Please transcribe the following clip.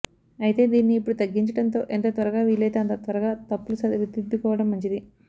అయితే దీనిని ఇప్పుడు తగ్గించడంతో ఎంత త్వరగా వీలైతే అంత త్వరగా తప్పులు సరిదిద్దుకోవడం మంచిది